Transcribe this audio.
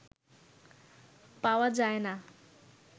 পাওয়া যায়না